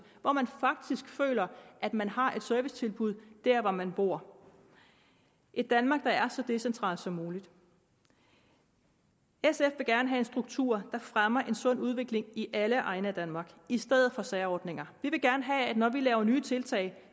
hvor man faktisk føler at man har et servicetilbud der hvor man bor et danmark der er så decentralt som muligt sf vil gerne have en struktur der fremmer en sund udvikling i alle egne af danmark i stedet for særordninger vi vil gerne have at når vi laver nye tiltag